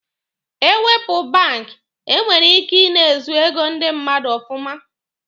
Ewepụ bank, e nwere ike ị na-ezu ego ndi mmadụ ọfụma.